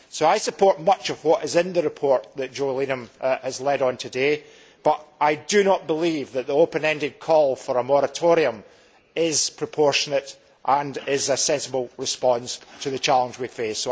I support much of what is in the question that Jo Leinen has led on today, but I do not believe that the open ended call for a moratorium is proportionate and is a sensible response to the challenge we face.